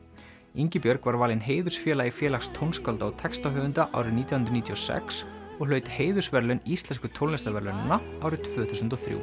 Ingibjörg var valin heiðursfélagi Félags tónskálda og textahöfunda árið nítján hundruð níutíu og sex og hlaut heiðursverðlaun Íslensku tónlistarverðlaunanna árið tvö þúsund og þrjú